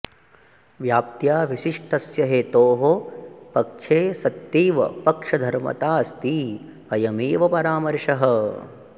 व्याप्त्या विशिष्टस्य हेतोः पक्षे सत्तैव पक्षधर्मताऽस्ति अयमेव परामर्शः